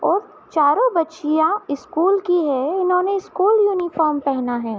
और चारों बच्चियाँ स्कूल की हैं इन्होने स्कूल यूनिफार्म पहना है।